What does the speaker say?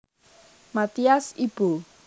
Mathias Ibo